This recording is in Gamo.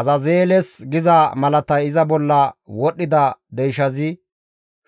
Azazeeles giza malatay iza bolla wodhdhida deyshazi